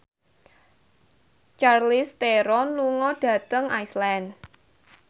Charlize Theron lunga dhateng Iceland